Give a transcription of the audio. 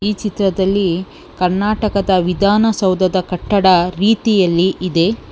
ಈ ಚಿತ್ರದಲ್ಲಿ ಕರ್ನಾಟಕದ ವಿಧಾನಸೌದದ ಕಟ್ಟಡ ರೀತಿಯಲ್ಲಿ ಇದೆ.